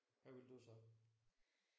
Hvad vil du så?